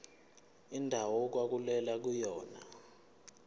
indawo okwakulwelwa kuyona